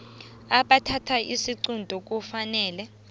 abathatha isiqunto kufanele